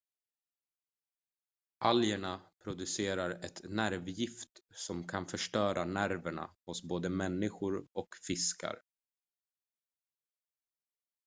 algerna producerar ett nervgift som kan förstöra nerverna hos både människor och fiskar